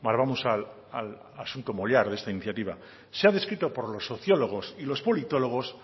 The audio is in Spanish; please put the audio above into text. vamos al asunto mollar de esta iniciativa el clientelismo se ha descrito por los sociólogos y por los politólogos